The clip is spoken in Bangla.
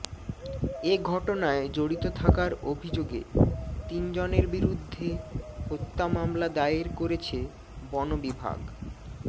এ ঘটনায় জড়িত থাকার অভিযোগে তিনজনের বিরুদ্ধে হত্যা মামলা দায়ের করেছে বন বিভাগ